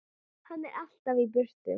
Hann er alltaf í burtu.